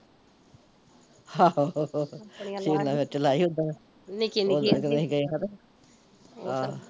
ਆਹੋ ਚੂਨਾ ਵਿੱਚ ਲਾਇਆ ਸੀ ਓਦਾ ਨਿੱਕੀਆ ਨਿੱਕੀਆ ਆਹੋ